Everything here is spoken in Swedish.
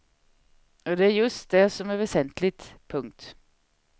Och det är just det som är väsentligt. punkt